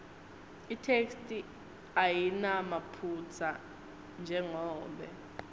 itheksthi ayinamaphutsa njengobe